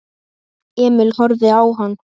Emil horfði á hann.